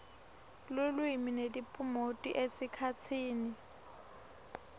lulwimi netiphumuti esikhatsini